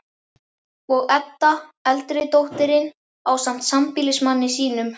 Og Edda, eldri dóttirin, ásamt sambýlismanni sínum